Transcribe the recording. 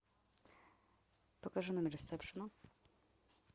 покажи номер ресепшена